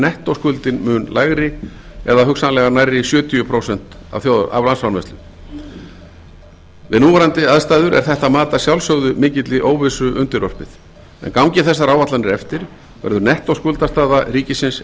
því er nettóskuldin mun lægri eða hugsanlega nærri sjötíu prósent af landsframleiðslu við núverandi aðstæður er þetta mat að sjálfsögðu mikilli óvissu undirorpið en gangi þessar áætlanir eftir verður nettóskuldastaða ríkisins